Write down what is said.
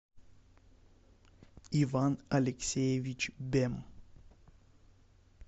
иван алексеевич бем